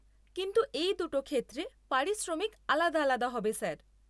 কিন্তু এই দুটো ক্ষেত্রে পারিশ্রমিক আলাদা আলাদা হবে স্যার।